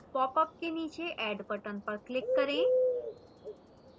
popअप के नीचे add button पर click करें